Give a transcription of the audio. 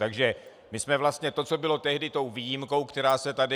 Takže my jsme vlastně to, co bylo tehdy tou výjimkou, která se tady...